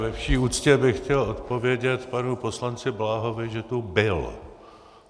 Ve vší úctě bych chtěl odpovědět panu poslanci Bláhovi, že tu byl.